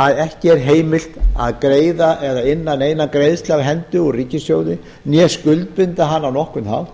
að ekki er heimilt að greiða eða inna neina greiðslur úr hendi úr ríkissjóði né skuldbinda hana á nokkurn hátt